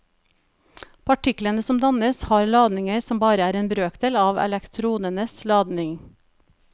Partiklene som dannes, har ladninger som bare er en brøkdel av elektronenes ladning.